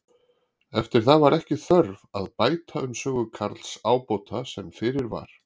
Eftir það var ekki þörf að bæta um sögu Karls ábóta sem fyrir var.